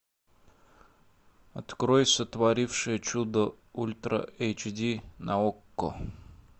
открой сотворившая чудо ультра эйч ди на окко